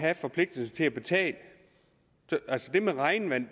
have forpligtelsen til at betale det med regnvand